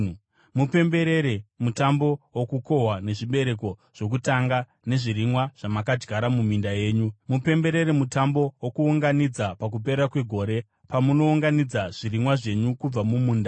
“Mupemberere Mutambo woKukohwa nezvibereko zvokutanga zvezvirimwa zvamakadyara muminda yenyu. “Mupemberere Mutambo woKuunganidza pakupera kwegore, pamunounganidza zvirimwa zvenyu kubva mumunda.